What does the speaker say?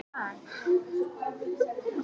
Eigið fé Byggðastofnunar aukið um milljarð